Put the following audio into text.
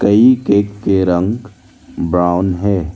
ये केक के रंग ब्राउन है।